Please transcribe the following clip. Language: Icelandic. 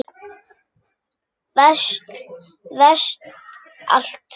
Veist allt.